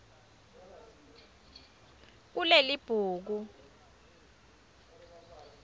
kulelibhuku